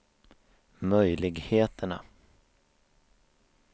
möjligheterna